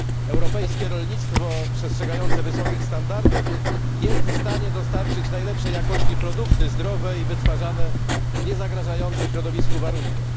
Europejskie rolnictwo przestrzegające wysokich standardów jest w stanie dostarczyć najlepszej jakości produkty, zdrowe i wytwarzane z niezagrażających środowisku warunkach.